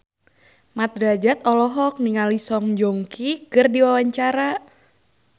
Mat Drajat olohok ningali Song Joong Ki keur diwawancara